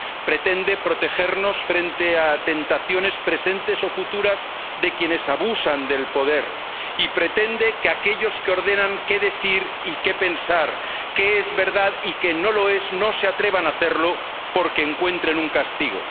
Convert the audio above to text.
pretende protegernos frente a tentaciones presentes o futuras de quienes abusan del poder y pretende que aquellos que ordenan qué decir y qué pensar, qué es verdad y qué no lo es, no se atrevan a hacerlo porque encuentren un castigo.